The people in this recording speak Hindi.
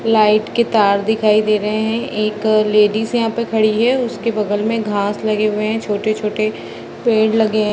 लाइट के तार दिखाई दे रहे हैं एक लेडिस यहाँ पे खड़ी है | उसके बगल में घास लगे हुए हैं | छोटे-छोटे पेड़ लगे हैं |